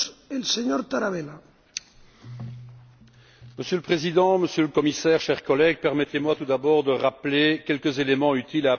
Monsieur le Président, Monsieur le Commissaire, chers collègues, permettez moi tout d'abord de rappeler quelques éléments utiles pour apprécier l'importance de ces dossiers liés entre eux.